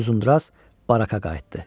Uzundraz barakaya qayıtdı.